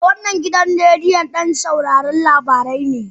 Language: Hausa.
eh, wannan gidan rediyon don sauraron labarai ne